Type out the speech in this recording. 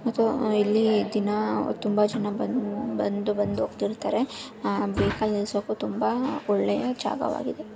ಇದು ಇಲ್ಲಿ ದಿನಾ ತುಂಬಾ ಜನ ಬಂದು ಬಂದು ಹೋಗ್ತಾ ಇರ್ತಾರೆ ಬೇವಿನ ಸೊಪ್ಪು ತುಂಬಾ ಒಳ್ಳೆಯ ಜಾಗವಾಗಿದೆ .